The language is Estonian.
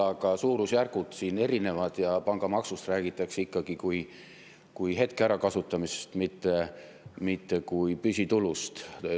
Aga suurusjärgud on siin erinevad ja pangamaksust räägitakse ikkagi kui hetke ärakasutamisest, mitte kui püsitulust.